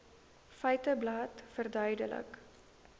feiteblad verduidelik